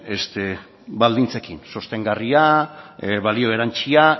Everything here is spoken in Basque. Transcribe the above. baldintzekin sostengarria balio erantzia